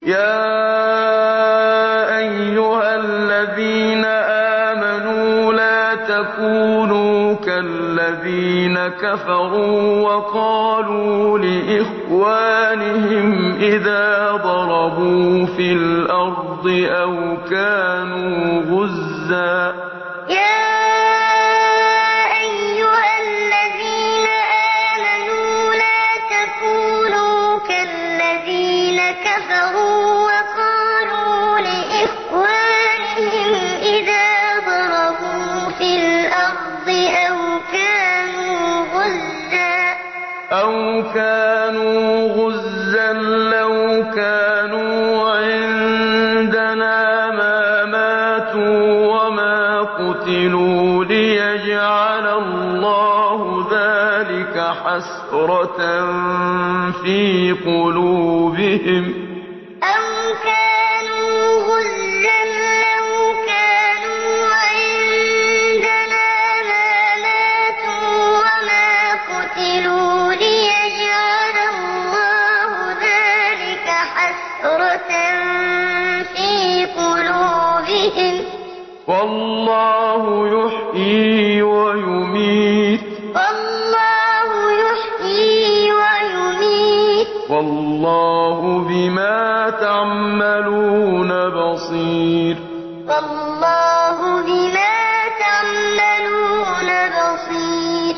يَا أَيُّهَا الَّذِينَ آمَنُوا لَا تَكُونُوا كَالَّذِينَ كَفَرُوا وَقَالُوا لِإِخْوَانِهِمْ إِذَا ضَرَبُوا فِي الْأَرْضِ أَوْ كَانُوا غُزًّى لَّوْ كَانُوا عِندَنَا مَا مَاتُوا وَمَا قُتِلُوا لِيَجْعَلَ اللَّهُ ذَٰلِكَ حَسْرَةً فِي قُلُوبِهِمْ ۗ وَاللَّهُ يُحْيِي وَيُمِيتُ ۗ وَاللَّهُ بِمَا تَعْمَلُونَ بَصِيرٌ يَا أَيُّهَا الَّذِينَ آمَنُوا لَا تَكُونُوا كَالَّذِينَ كَفَرُوا وَقَالُوا لِإِخْوَانِهِمْ إِذَا ضَرَبُوا فِي الْأَرْضِ أَوْ كَانُوا غُزًّى لَّوْ كَانُوا عِندَنَا مَا مَاتُوا وَمَا قُتِلُوا لِيَجْعَلَ اللَّهُ ذَٰلِكَ حَسْرَةً فِي قُلُوبِهِمْ ۗ وَاللَّهُ يُحْيِي وَيُمِيتُ ۗ وَاللَّهُ بِمَا تَعْمَلُونَ بَصِيرٌ